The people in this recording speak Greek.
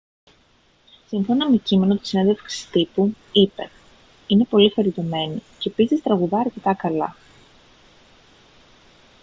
σύμφωνα με κείμενο της συνέντευξης τύπου είπε: «είναι πολύ χαριτωμένη και επίσης τραγουδά αρκετά καλά»